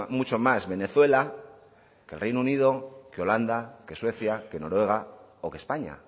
mucho más venezuela que el reino unido que holanda que suecia que noruega o que españa